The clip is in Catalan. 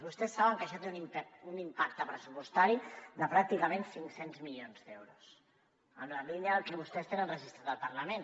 vostès saben que això té un impacte pressupostari de pràcticament cinc cents milions d’euros en la línia del que vostès tenen registrat al parlament